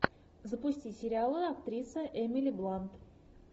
запусти сериалы актриса эмили блант